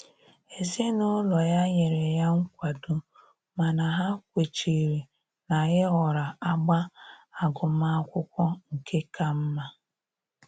Ezinụlọ ya nyere ya nkwado mana ha kwechiri na-ịhọrọ agba agụmakwụkwọ nke ka mma